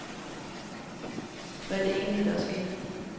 Hvad er det egentlig, der er sket.